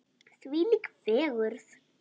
Þvílík fegurð!